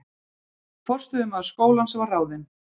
Forstöðumaður skólans var ráðinn